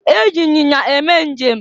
E ji anyinya eme njem.